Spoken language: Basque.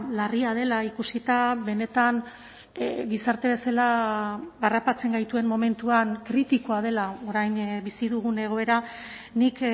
larria dela ikusita benetan gizarte bezala harrapatzen gaituen momentuan kritikoa dela orain bizi dugun egoera nik